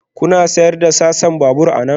Kuna sayar da sassan babur anan?